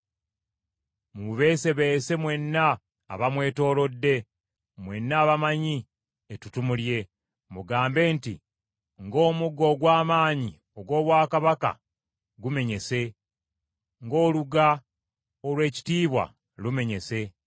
Mumubeesebeese mwenna abamwetoolodde, mwenna abamanyi ettutumu lye; mugambe nti, ‘Ng’Omuggo ogw’amaanyi ogw’obwakabaka gumenyese, ng’oluga olw’ekitiibwa lumenyese!’